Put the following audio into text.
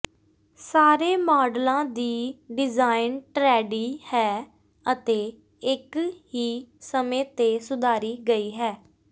ਸਾਰੇ ਮਾਡਲਾਂ ਦੀ ਡਿਜ਼ਾਈਨ ਟਰੈਡੀ ਹੈ ਅਤੇ ਇਕ ਹੀ ਸਮੇਂ ਤੇ ਸੁਧਾਰੀ ਗਈ ਹੈ